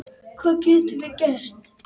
Hvað getum við gert?